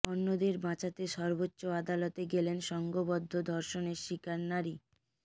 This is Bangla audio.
অন্যদের বাঁচাতে সর্বোচ্চ আদালতে গেলেন সংঘবদ্ধ ধর্ষণের শিকার নারী